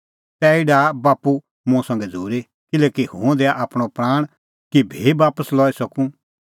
तैही डाहा बाप्पू मुंह संघै झ़ूरी किल्हैकि हुंह दैआ आपणअ प्राण कि भी बापस लई सकूं